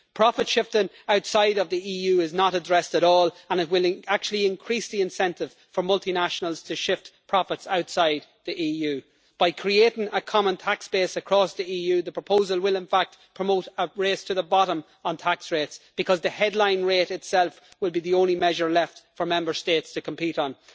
Profit shifting outside of the EU is not addressed at all and it will actually increase the incentive for multinationals to shift profits outside the EU. By creating a common tax base across the EU, the proposal will, in fact, promote a race to the bottom on tax rates because the headline rate itself will be the only measure left for Member States to compete on.